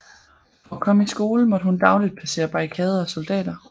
For at komme i skole måtte hun dagligt passere barrikader og soldater